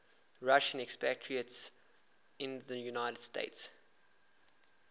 russian expatriates in the united states